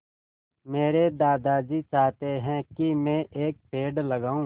मेरे दादाजी चाहते हैँ की मै एक पेड़ लगाऊ